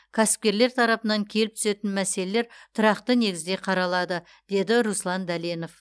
кәсіпкерлер тарапынан келіп түсетін мәселелер тұрақты негізде қаралады деді руслан дәленов